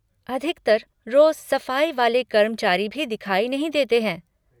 अधिकतर रोज़ सफ़ाई वाले कर्मचारी भी दिखाई नहीं देते हैं।